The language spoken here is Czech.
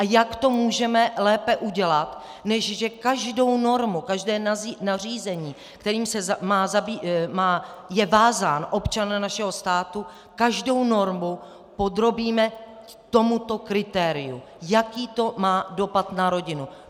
A jak to můžeme lépe udělat, než že každou normu, každé nařízení, kterým je vázán občan našeho státu, každou normu podrobíme tomuto kritériu: Jaký to má dopad na rodinu.